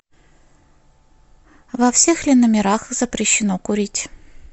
во всех ли номерах запрещено курить